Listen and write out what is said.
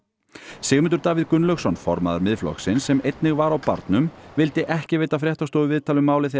Sigmundur Davíð Gunnlaugsson formaður Miðflokksins sem einnig var á barnum vildi ekki veita fréttastofu viðtal um málið þegar